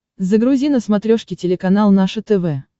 загрузи на смотрешке телеканал наше тв